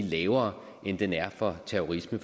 lavere end den er for terrorisme